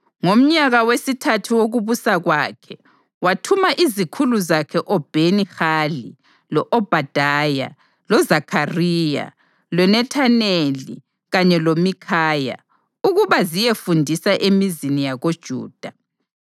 Ngomnyaka wesithathu wokubusa kwakhe wathuma izikhulu zakhe oBheni-Hali, lo-Obhadaya, loZakhariya, loNethaneli kanye loMikhaya ukuba ziyefundisa emizini yakoJuda.